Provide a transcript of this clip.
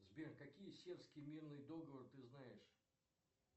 сбер какой сербский мирный договор ты знаешь